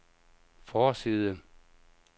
forside